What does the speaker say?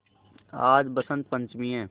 आज बसंत पंचमी हैं